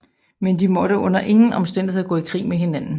Men de måtte under ingen omstændigheder gå i krig med hinanden